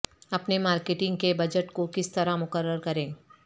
اپنے مارکیٹنگ کے بجٹ کو کس طرح مقرر کریں